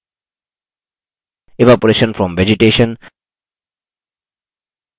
evaporation from vegetation